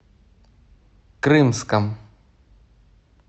крымском